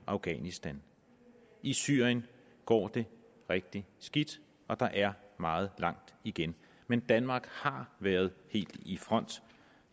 afghanistan i syrien går det rigtig skidt og der er meget langt igen men danmark har været helt i front